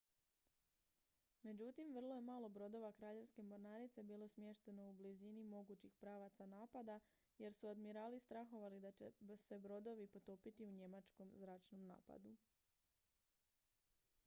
međutim vrlo je malo brodova kraljevske mornarice bilo smješteno u blizini mogućih pravaca napada jer su admirali strahovali da će se brodovi potopiti u njemačkom zračnom napadu